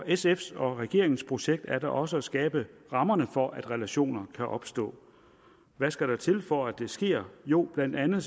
sf’s og regeringens projekt er da også at skabe rammerne for at relationer kan opstå hvad skal der til for at det sker jo blandt andet